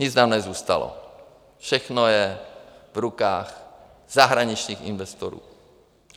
Nic nám nezůstalo, všechno je v rukách zahraničních investorů.